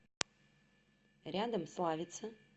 рядом славица